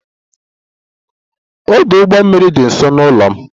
Ọdụ ụgbọ mmiri dị nso n'ụlọ m